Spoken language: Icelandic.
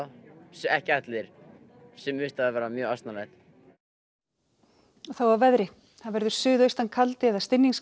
ekki allir sumum finnst það mjög asnalegt og þá að veðri það verður suðaustan kaldi eða